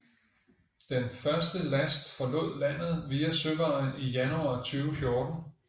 Den første last forlod landet via søvejen i januar 2014